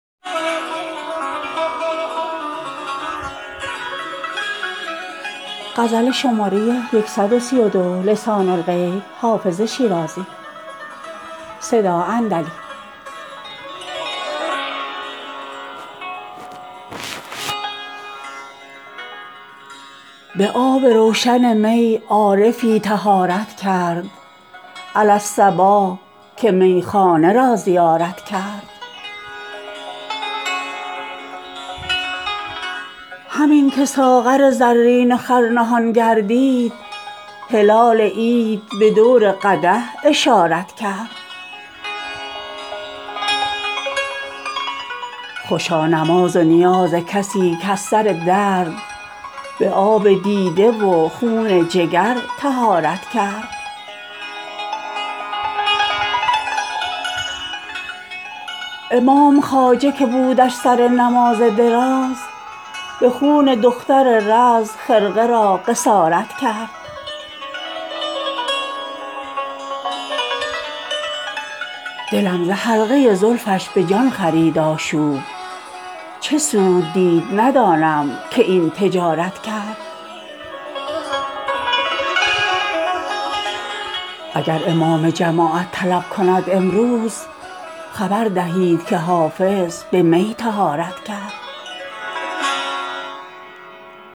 به آب روشن می عارفی طهارت کرد علی الصباح که میخانه را زیارت کرد همین که ساغر زرین خور نهان گردید هلال عید به دور قدح اشارت کرد خوشا نماز و نیاز کسی که از سر درد به آب دیده و خون جگر طهارت کرد امام خواجه که بودش سر نماز دراز به خون دختر رز خرقه را قصارت کرد دلم ز حلقه زلفش به جان خرید آشوب چه سود دید ندانم که این تجارت کرد اگر امام جماعت طلب کند امروز خبر دهید که حافظ به می طهارت کرد